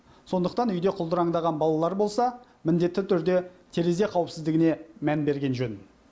сондықтан үйде құлдыраңдаған балалар болса міндетті түрде терезе қауіпсіздігіне мән берген жөн